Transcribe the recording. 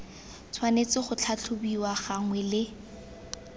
tshwanetse go tlhatlhobiwa gangwe le